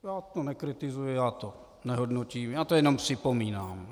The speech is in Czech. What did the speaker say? Já to nekritizuji, já to nehodnotím, já to jenom připomínám.